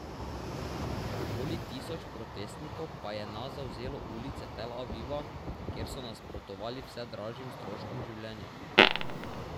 Okoli tisoč protestnikov pa je na zavzelo ulice Tel Aviva, kjer so nasprotovali vse dražjim stroškom življenja.